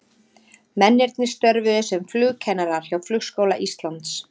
Mennirnir störfuðu sem flugkennarar hjá Flugskóla Íslands.